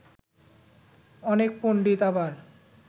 অনেক পণ্ডিত আবার